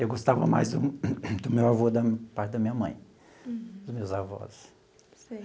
Eu gostava mais do do meu avô da parte da minha mãe, dos meus avós. Sei.